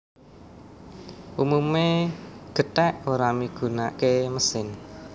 Umumé gèthèk ora migunaké mesin